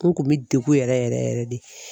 N kun bɛ degun yɛrɛ yɛrɛ yɛrɛ yɛrɛ de.